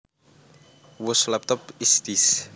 Whose laptop is this